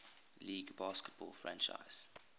league baseball franchise